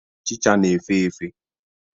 Ochicha na-efe efe.